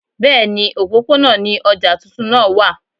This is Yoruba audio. Bẹ́ẹ̀ni, òpópónà ni ọjà tuntun náà wà